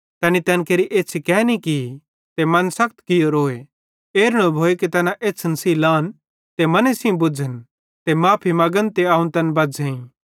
तैनी तैन केरि एछ़्छ़ी केनि की ते मन सखत कियोरोए एरू न भोए कि तैना एछ़्छ़न सेइं लान ते मने सेइं बुझ़न ते माफ़ी मगन ते अवं तैन बज़्झ़ेई